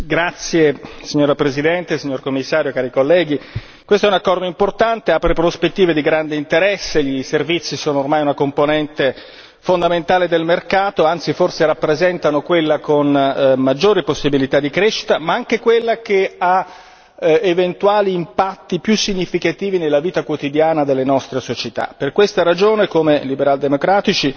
Signora Presidente, onorevoli colleghi, signor Commissario, questo è un accordo importante che apre prospettive di grande interesse. I servizi sono ormai una componente fondamentale del mercato, anzi forse rappresentano quella con maggiore possibilità di crescita, ma anche quella che ha eventuali impatti più significativi nella vita quotidiana delle nostre società.